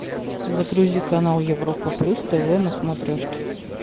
загрузи канал европа плюс тв на смотрешке